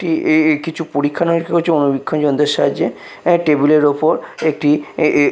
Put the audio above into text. একটি এ এ কিছু পরীক্ষা নিরীক্ষা করছে অণুবীক্ষন যন্ত্রের সাহায্যে এ টেবিলের ওপর একটি এ এ --